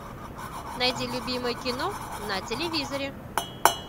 найди любимое кино на телевизоре